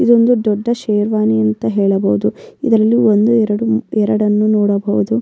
ಇದೊಂದು ದೊಡ್ಡ್ ಶೇರ್ವಾನಿ ಅಂತ ಹೇಳಬಹುದು ಇದಲ್ಲಿ ಒಂದು ಎರಡು ಮೂ ಎರಡನ್ನು ನೋಡಬಹುದು.